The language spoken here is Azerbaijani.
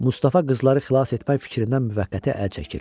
Mustafa qızları xilas etmək fikrindən müvəqqəti əl çəkir.